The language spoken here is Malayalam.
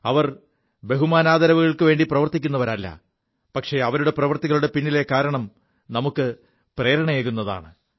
അവർ ബഹുമാനാദരവുകൾക്കുവേണ്ടി പ്രവർത്തിക്കുവരല്ല പക്ഷേ അവരുടെ പ്രവൃത്തികളുടെ പിിലെ കാരണം നമുക്ക് പ്രേരണയേകുതാണ്